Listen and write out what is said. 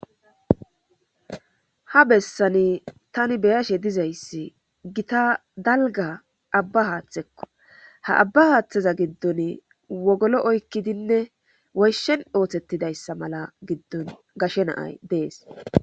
Ha bessani tani be'ayashe diza issi gita dalgga abba haaththikko. Ha abba haaththeza giddon wogolo oykkidinne woyshen oosettida issa mala giddon gashe naayi dees.